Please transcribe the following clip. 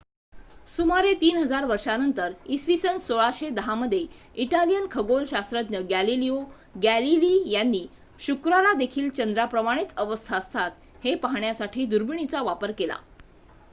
सुमारे ३ हजार वर्षांनंतर इ.स. १६१० मध्ये इटालियन खगोलशास्त्रज्ञ गॅलिलिओ गॅलीली यांनी शुक्रालादेखील चंद्राप्रमाणेच अवस्था असतात हे पाहण्यासाठी दुर्बिणीचा वापर केला